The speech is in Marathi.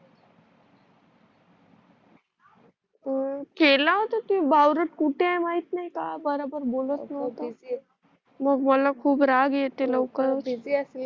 हो केला होता तो बावळत कुठ आहे माहित नाही का बरोबर बोलत नाही आता मला खूप राग येते लवकर